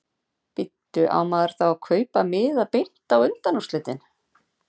Bíddu. á maður þá að kaupa miða beint á undanúrslitin?